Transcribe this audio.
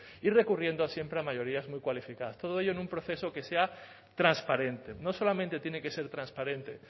y recurriendo siempre a mayorías muy cualificadas todo ello en un proceso que sea transparente no solamente tiene que ser transparente